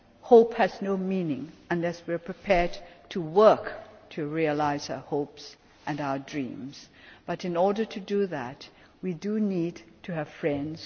Hope has no meaning unless we are prepared to work to realise our hopes and dreams, but in order to do that we need to have friends.